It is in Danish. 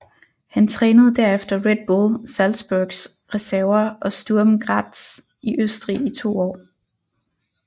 Han trænede derefter Red Bull Salzburgs reserver og Sturm Graz i Østrig i to år